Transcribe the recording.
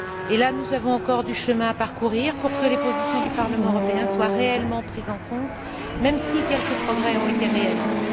Et là, nous avons encore du chemin à parcourir pour que les positions du Parlement européen soient réellement prises en compte, même si quelques progrès ont été réalisés.